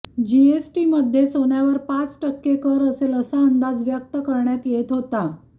जीएसटीमध्ये सोन्यावर पाच टक्के कर असेल असा अंदाज व्यक्त करण्यात येत होता